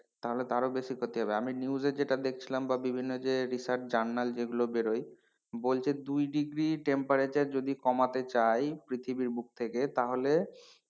তাহলে তো আরো বেশি ক্ষতি হবে আমি news এ যেটা দেখছিলাম বা বিভিন্ন journal research যেগুলো বেরোয় বলছে দুই degree temperature যদি কমাতে চাই পৃথিবীর বুক থেকে তাহলে,